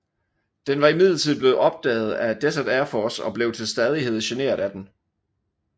Den var imidlertid blevet opdaget af Desert Air Force og blev til stadighed generet af den